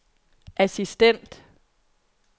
assistent